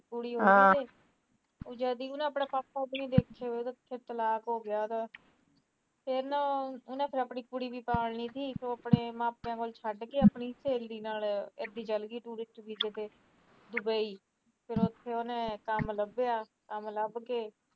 ਫਿਰ ਨਾ ਉਹਨੇ ਆਪਣੀ ਕੁੜੀ ਵੀ ਪਾਲਣੀ ਤੀ ਫਿਰ ਮਾਪੀਆਂ ਕੋਲ ਛੱਟ ਕੇ ਆਪਣੀ ਸਹੋਲੀ ਨਾਲ ਇਦਾਈ ਚੱਲਗੀ tourist ਵੀਜੇ ਤੇ ਦੁਬਈ ਫਿਰ ਉਥੇ ਉਹਨੇ ਕੰਮ ਲੱਭਿਆ ਕੰਮ ਲੱਭ ਕੇ